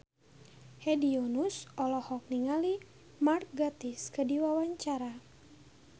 Hedi Yunus olohok ningali Mark Gatiss keur diwawancara